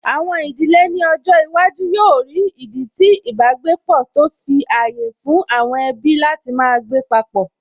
Àwọn ìdílé ní ọjọ́ iwájú yóò rí ìdí tí ìbágbépọ̀, tó fi ààyè fún àwọn ẹbí láti máa gbé papọ̀